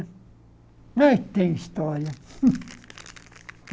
Ai tem história? hum